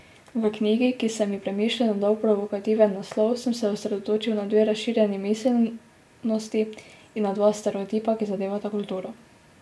V knjigi, ki sem ji premišljeno dal provokativen naslov, sem se osredotočil na dve razširjeni miselnosti in na dva stereotipa, ki zadevata kulturo.